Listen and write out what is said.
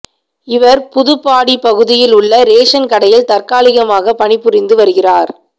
இவர் புதுப்பாடி பகுதியில் உள்ள ரேஷன் கடையில் தற்காலிகமாக பணிபுரிந்து வருகிறார்